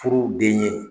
Furuden ye